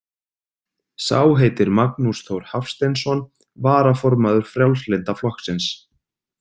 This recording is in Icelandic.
Sá heitir Magnús Þór Hafsteinsson, varaformaður Frjálslynda flokksins.